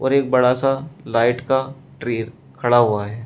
पर एक बड़ा सा लाइट का ट्री खड़ा हुआ है।